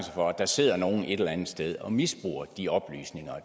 for at der sidder nogle et eller andet sted og misbruger de oplysninger og